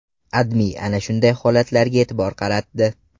AdMe ana shunday holatlarga e’tibor qaratdi .